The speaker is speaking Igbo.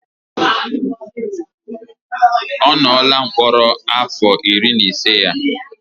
Ọ nọọla mkpọrọ afọ iri na ise ya